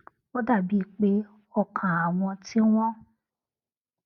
ó dà bíi pé ọkàn àwọn tí wón